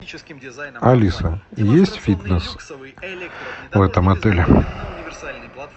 алиса есть фитнес в этом отеле